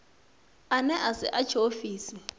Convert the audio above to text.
ane a si a tshiofisi